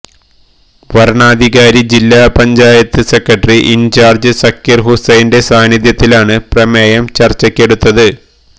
വരണാധികാരി ജില്ലാ panchayat secretary in charge Zakir ഹുസൈന്റെ സാന്നിദ്ധ്യത്തിലാണ് പ്രമേയം ചര്ച്ചയ്ക്കെടുത്തത്